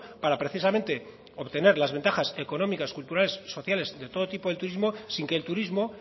para precisamente obtener las ventajas económicas culturales sociales de todo tipo del turismo sin que el turismo